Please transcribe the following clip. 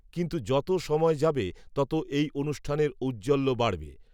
কিন্ত্ত যত সময় যাবে তত, এই, অনুষ্ঠানের, ঔজ্জ্বল্য বাড়বে